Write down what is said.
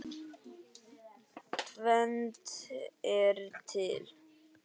Tvennt er til.